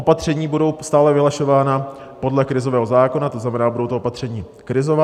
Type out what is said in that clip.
Opatření budou stále vyhlašována podle krizového zákona, to znamená, budou to opatření krizová.